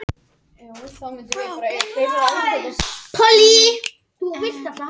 Kvíði getur ýmist verið tímabundinn eða langvarandi.